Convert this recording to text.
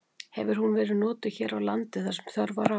Hefur hún verið notuð hér á landi þar sem þörf var á.